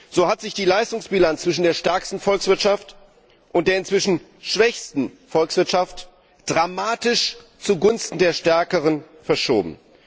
So hat sich die Leistungsbilanz zwischen der stärksten Volkswirtschaft und der inzwischen schwächsten Volkswirtschaft dramatisch zugunsten der stärkeren verschoben.